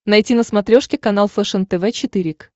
найти на смотрешке канал фэшен тв четыре к